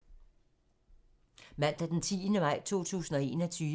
Mandag d. 10. maj 2021